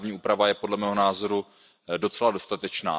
Ta právní úprava je podle mého názoru docela dostatečná.